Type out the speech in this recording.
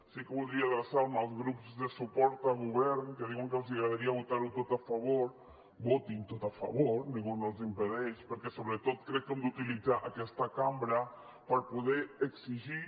sí que voldria adreçar me als grups de suport a govern que diuen que els agradaria votar ho tot a favor votin ho tot a favor ningú no els ho impedeix perquè sobretot crec que hem d’utilitzar aquesta cambra per poder exigir